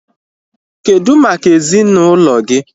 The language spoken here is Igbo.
Kedụ maka ezinaụlọ gị?